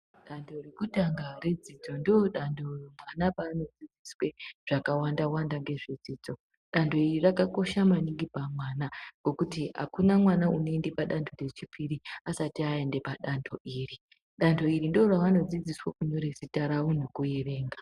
Dantho rekutanga redzidzo ndoo dantho ana paanodzidziswe zvakawandawanda ngezvedzidzo. Dantho iri rakakosha maningi pamwana ngekuti apana mwana unoende padantho rechipiri asati aende padantho iri. Dantho iri ndoo ravanodzidziswe kunyore zita ravo nekuerenga.